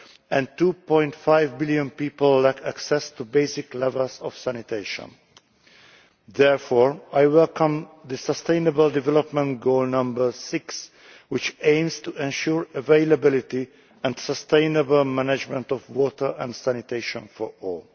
and 2.5 billion people lack access to basic levels of sanitation. Therefore I welcome Sustainable Development Goal 6, which aims to ensure availability and sustainable management of water and sanitation for all.